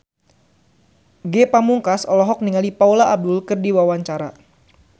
Ge Pamungkas olohok ningali Paula Abdul keur diwawancara